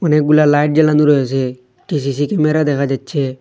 অনেকগুলা লাইট জ্বালানো রয়েসে একটি সি_সি ক্যামেরা দেখা যাচ্ছে।